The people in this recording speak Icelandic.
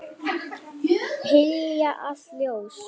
Hylja allt ljós.